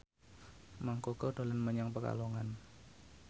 Mang Koko dolan menyang Pekalongan